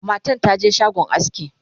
matan taje shagon aski